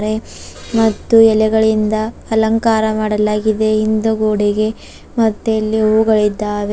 ಮತ್ತು ಎಲೆಗಳಿಂದ ಅಲಂಕಾರ ಮಾಡಲಾಗಿದೆ ಹಿಂದು ಗೋಡೆಗೆ ಮತ್ತೆ ಇಲ್ಲಿ ಹೂಗಳಿದ್ದಾವೆ.